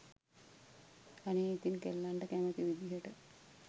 අනේ ඉතින් කෙල්ලන්ට කැමති විදියට